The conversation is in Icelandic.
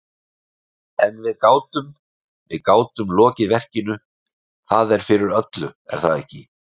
En við gátum, við gátum lokið verkinu, það er fyrir öllu, er það ekki?